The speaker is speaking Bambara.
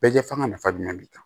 Bɛɛ fanga nafa jumɛn b'i kan